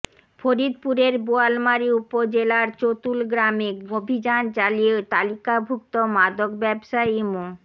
ফরিদপুরের বোয়ালমারী উপজেলার চতুল গ্রামে অভিযান চালিয়ে তালিকাভুক্ত মাদক ব্যবসায়ী মো